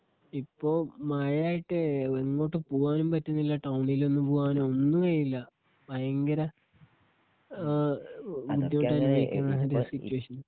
ഇപ്പോ മഴയായിട്ടേ എങ്ങോട്ടും പോകാനും പറ്റുന്നില്ല. ടൌണില് ഒന്നും പോകാനും ഒന്നും കഴിയുന്നില്ല. ഭയങ്കര ബുദ്ധിമുട്ട് അനുഭവിക്കുന്ന മാതിരിയാണ് സീറ്റുവേഷൻ.